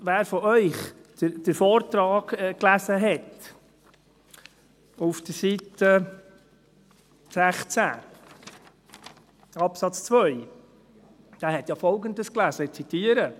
Wer von Ihnen den Vortrag auf Seite 16, Absatz 2 las, las ja Folgendes, ich zitiere: